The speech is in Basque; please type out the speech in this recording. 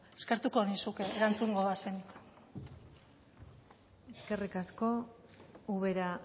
eskertuko nizuke erantzungo bazenit eskerrik asko ubera